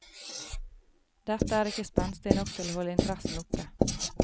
Dette er ikke spenstig nok til å holde interessen oppe.